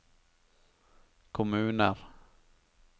kommuner